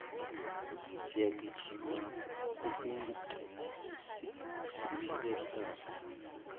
siyagijima kutigcina siphile kahle